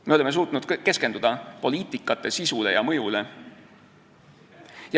Me oleme suutnud keskenduda poliitika sisule ja mõjule.